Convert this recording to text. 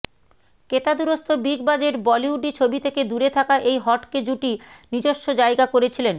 কেতাদুরস্ত big budget বলিউডি ছবি থেকে দূরে থাকা এই হটকে জুটি নিজস্ব জায়গা করেছিলেন